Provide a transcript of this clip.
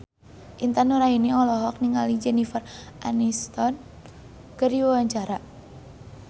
Intan Nuraini olohok ningali Jennifer Aniston keur diwawancara